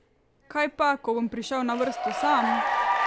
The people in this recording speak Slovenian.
Kaj pa, ko bom prišel na vrsto sam?